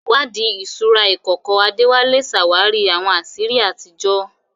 Ìwádìí ìṣúra ìkọ̀kọ̀ Adewale ṣàwárí àwọn àṣírí àtijọ́.